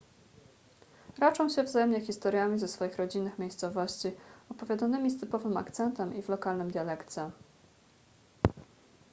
raczą się wzajemnie historiami ze swoich rodzinnych miejscowości opowiadanymi z typowym akcentem i w lokalnym dialekcie